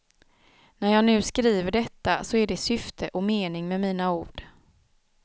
När jag nu skriver detta så är det syfte och mening med mina ord.